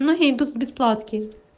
ну я иду с бесплатки